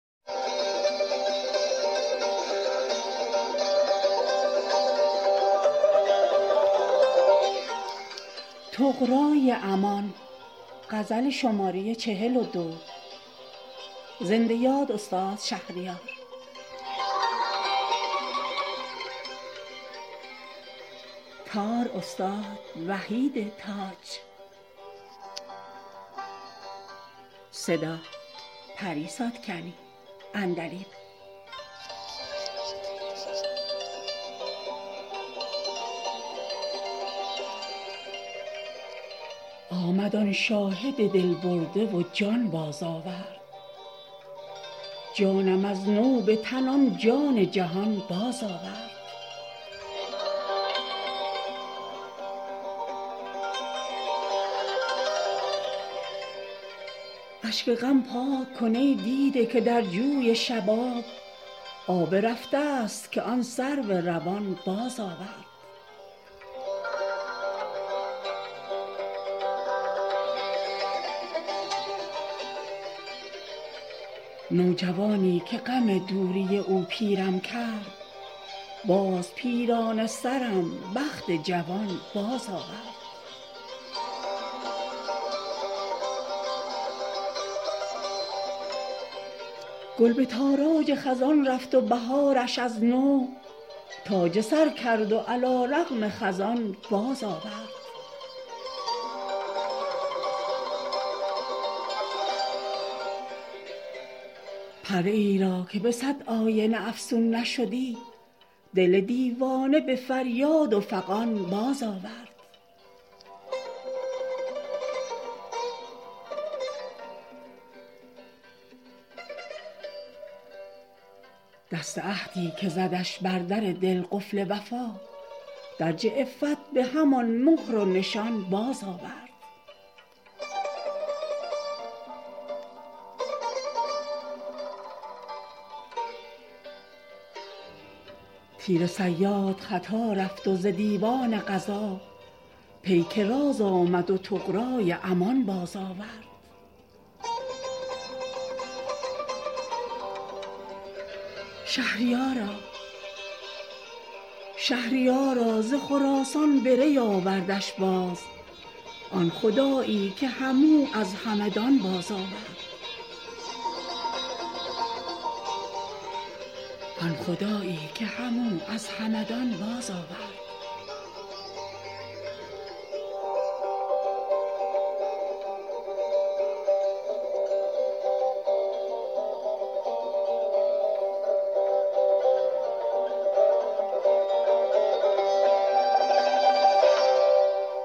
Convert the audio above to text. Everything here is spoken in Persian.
آمد آن شاهد دل برده و جان بازآورد جانم از نو به تن آن جان جهان بازآورد اشک غم پاک کن ای دیده که در جوی شباب آب رفته است که آن سرو روان بازآورد نوجوانی که غم دوری او پیرم کرد باز پیرانه سرم بخت جوان بازآورد گل به تاراج خزان رفت و بهارش از نو تاج سر کرد و علیرغم خزان بازآورد پریی را که به صد آینه افسون نشدی دل دیوانه به فریاد و فغان بازآورد آزمودم ملکوتی ملک رحمت را در دل شب به یکی ناله توان بازآورد دست عهدی که زدش بر در دل قفل وفا درج عفت به همان مهر و نشان بازآورد تیر صیاد خطا رفت و ز دیوان قضا پیک راز آمد و طغرای امان بازآورد شهریارا ز خراسان به ری آوردش باز آن خدایی که هم او از همدان بازآورد